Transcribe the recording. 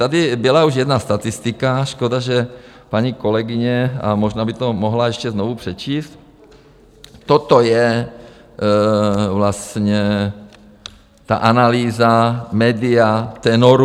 Tady byla už jedna statistika, škoda, že paní kolegyně, a možná by to mohla ještě znovu přečíst, toto je vlastně ta analýza Media Tenoru.